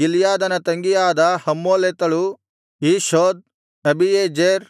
ಗಿಲ್ಯಾದನ ತಂಗಿಯಾದ ಹಮ್ಮೋಲೆಕೆತಳು Ishhod Abiezer